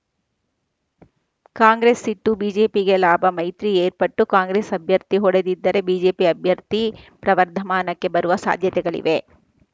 ಕಾಂಗ್ರೆಸ್‌ ಸಿಟ್ಟು ಬಿಜೆಪಿಗೆ ಲಾಭ ಮೈತ್ರಿ ಏರ್ಪಟ್ಟು ಕಾಂಗ್ರೆಸ್‌ ಅಭ್ಯರ್ಥಿ ಹೂಡದಿದ್ದರೆ ಬಿಜೆಪಿ ಅಭ್ಯರ್ಥಿ ಪ್ರವರ್ಧಮಾನಕ್ಕೆ ಬರುವ ಸಾಧ್ಯತೆಗಳಿವೆ